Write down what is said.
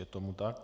Je tomu tak.